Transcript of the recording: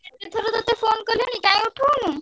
କେତେଥର ତତେ phone କଲିଣି କାଇଁ ଉଠଉନୁ?